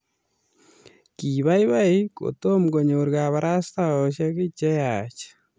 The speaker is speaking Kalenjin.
kibaibai kotomo konyor kabarastaosiek che yaach